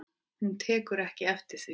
Hún tekur ekki við því.